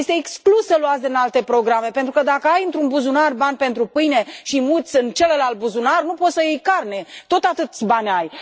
Este exclus să luați din alte programe, pentru că dacă ai într un buzunar bani pentru pâine și îi muți în celălalt buzunar, nu poți să iei carne, tot atâția bani ai.